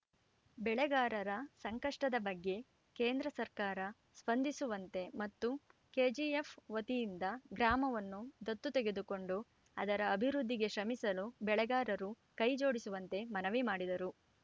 ಬೆಳೆಗಾರರ ಸಂಕಷ್ಟದ ಬಗ್ಗೆ ಕೇಂದ್ರ ಸರ್ಕಾರ ಸ್ಪಂದಿಸುವಂತೆ ಮತ್ತು ಕೆಜಿಎಫ್‌ ವತಿಯಿಂದ ಗ್ರಾಮವನ್ನು ದತ್ತು ತೆಗೆದುಕೊಂಡು ಅದರ ಅಭಿವೃದ್ಧಿಗೆ ಶ್ರಮಿಸಲು ಬೆಳೆಗಾರರು ಕೈ ಜೋಡಿಸುವಂತೆ ಮನವಿ ಮಾಡಿದರು